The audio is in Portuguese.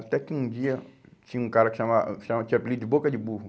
Até que um dia, tinha um cara que chama, chamava, tinha o apelido de Boca de Burro.